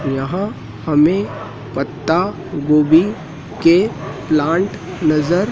यहां हमें पत्तागोबी के प्लांट नज़र--